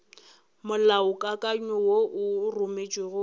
molaokakanywa wo o rometšwego go